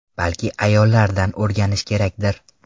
Balki ayollardan o‘rganish kerakdir?.